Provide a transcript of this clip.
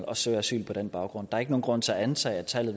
og søger asyl på den baggrund er ikke nogen grund til at antage at tallet